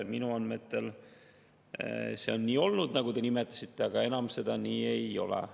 Minu andmetel see on nii olnud, nagu te nimetasite, aga enam nii ei ole.